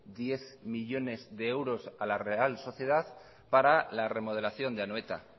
diez millónes de euros a la real sociedad para la remodelación de anoeta